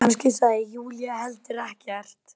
Kannski sagði Júlía heldur ekkert.